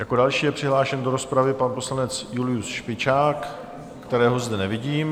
Jako další je přihlášen do rozpravy pan poslanec Julius Špičák, kterého zde nevidím.